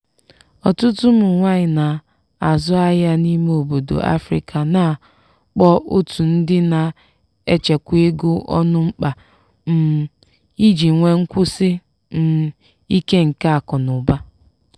ọtụtụ ụmụ nwaanyị na-azụ ahịa n’ime obodo afrika na-akpọ otu ndi na-echekwa ego ọnụ mkpa um iji nwee nkwụsi um ike nke akụnaụba.